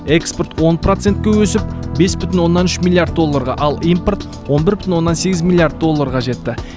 экспорт он процентке өсіп бес бүтін оннан үш миллиард долларға ал импорт он бір бүтін оннан сегіз миллиард долларға жетті